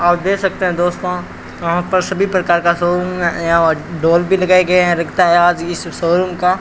आप दे सकते हैं दोस्तों यहां पर सभी प्रकार का शोरूम यहां डॉल भी लगाए गए हैं लगता है आज इस शोरूम का --